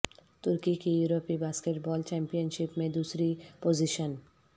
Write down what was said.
ترکی کی یورپی basketball championship میں دوسری پوزیشن